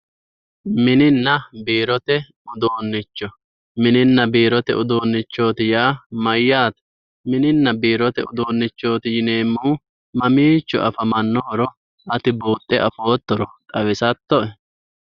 mininna biirote uduunnicho mininna biirote uduunnichoot yaa mayyaate mininna biirote uduunnichooti yineemmohu mamiicho afamannohoro ati buuxxe afoottoro xawisattoe?